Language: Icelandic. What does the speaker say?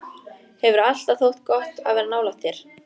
Hefur alltaf þótt gott að vera nálægt þér.